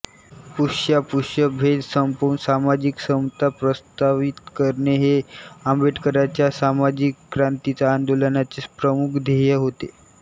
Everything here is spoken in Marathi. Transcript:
स्पृश्यास्पृश्य भेद संपवून सामाजिक समता प्रस्तावित करणे हे आंबेडकरांच्या सामाजिक क्रांतीच्या आंदोलनाचे प्रमुख ध्येय होते